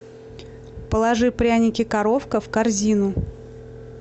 положи пряники коровка в корзину